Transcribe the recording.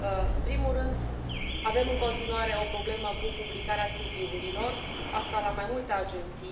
În primul rând, avem în continuare o problemă cu publicarea CV urilor aceasta la mai multe agenții.